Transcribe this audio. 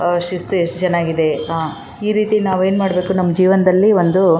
ಆ ಶಿಸ್ತು ಯೆಸ್ಟ್ ಚೆನ್ನಾಗಿದೆ ಈ ರೀತಿ ನಾವು ಏನ್ ಮಾಡಬೇಕು ನಮ್ ಜೀವನದಲ್ಲಿ ಒಂದು --